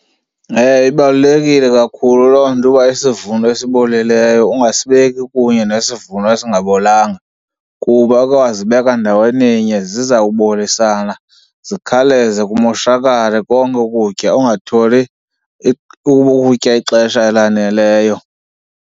Ewe, ibalulekile kakhulu loo nto uba isivuno esibolileyo ungasibeki kunye nesivuno esingabolanga, kuba ukhe wazibeka ndaweninye zizawubolisana zikhawuleze kumoshakale konke ukutya ungatholi ukutya ixesha elaneleyo.